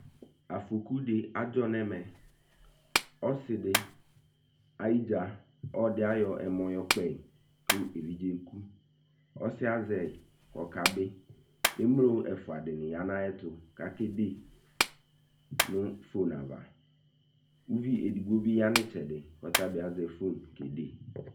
Afɔku de adzɔ nɛmɛɔ Ɔses de ayidza ɔde ayɔ ɛmɔ yɔ kpɔe ko evidze ku ɔsiɛ azɛeko kabe Emlo ɛfua de ne ya na ayɛto ko akede no fon ava Uvi edigbo be ya no ɛtsɛde ko ɔtabe azɛ fon ko ɔkede